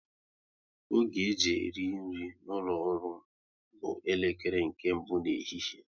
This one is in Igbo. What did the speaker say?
Oge e ji eri nri n'ụlọ ọrụ m bụ elekere nke mbụ nke ehihie